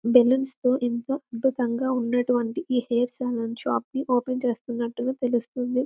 Balloons తో ఎంతో అద్భుతంగా ఉన్నటువంటి ఈ హెయిర్ సెలూన్ షాప్ ని ఓపెన్ చేస్తున్నట్టుగా తెలుస్తుంది .